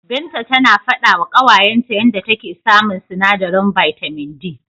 Binta tana faɗawa ƙawayenta yanda take samun sinadarin bitamin D.